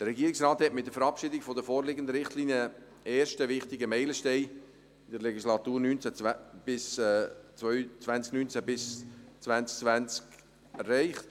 Der Regierungsrat hat mit der Verabschiedung der vorliegenden Richtlinien einen ersten wichtigen Meilenstein der Legislatur 2019–2022 erreicht.